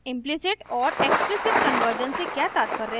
implicit और explicit conversion से क्या तात्पर्य है